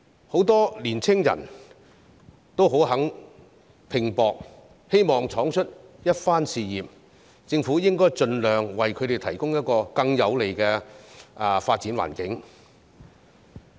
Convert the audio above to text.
很多青年人也願意拼搏，希望闖出一番事業，政府應該盡量為他們提供一個更有利的發展環境。